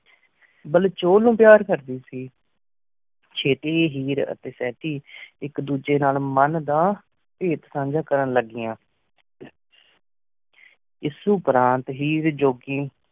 ਬੇਲ ਚੂਲ ਨੂ ਪਾਰ ਕਰਦੀ ਸੀ ਚਿਤਿ ਹੇਅਰ ਟੀ ਸਹਤੀ ਏਕ ਡੋਜੀ ਨਾਲ ਮਨ ਦਾ ਪੇਟ ਸਾਂਜਾ ਕਰਨ ਲ੍ਘਇਆਨ ਇਸ ਹੀ ਜੁਘੀ